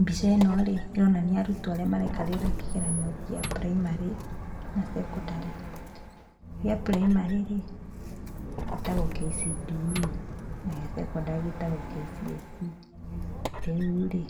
Mbica ĩno-rĩ, ĩronania arutwo arĩa maraikarĩra kĩgeranio gĩa puraimarĩ, na cekondarĩ. Gĩa puraimarĩ-rĩ, gĩtagwo KCPE na gĩa cekondarĩ gitagwo KCSE. Rĩu-rĩ,